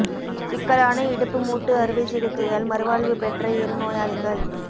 சிக்கலான இடுப்பு மூட்டு அறுவைச் சிகிச்சையால் மறுவாழ்வு பெற்ற இரு நோயாளிகள்